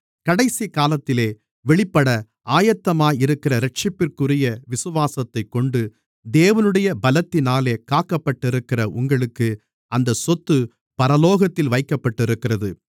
கடைசிக்காலத்திலே வெளிப்பட ஆயத்தமாயிருக்கிற இரட்சிப்பிற்குரிய விசுவாசத்தைக் கொண்டு தேவனுடைய பலத்தினாலே காக்கப்பட்டிருக்கிற உங்களுக்கு அந்தச் சொத்து பரலோகத்தில் வைக்கப்பட்டிருக்கிறது